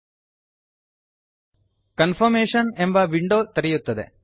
confirmation confirmation ಎಂಬ window ತೆರೆಯುತ್ತದೆ